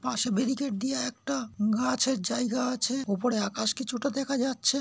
পশে বেরিকেট দিয়ে একটা গাছে র জায়গা আছে। উপরে আকাশ কিছু টা দেখা যাচ্ছে।